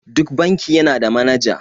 Duk banki yana da manaja.